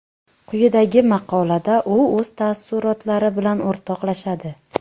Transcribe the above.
Quyidagi maqolada u o‘z taassurotlari bilan o‘rtoqlashadi.